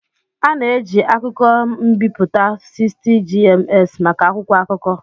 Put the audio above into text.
A na-eji akụkọ m'biputa 60gms maka akwụkwọ akụkọ.